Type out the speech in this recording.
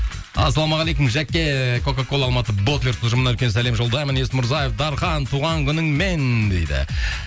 ассалаумағалейкум жәке кока кола алматы ботлер ұжымына үлкен сәлем жолдаймын есмұрзаев дархан туған күніңмен дейді